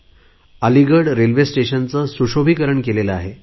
त्यांनी अलिगड रेल्वे स्टेशनचे सुशोभिकरण केले आहे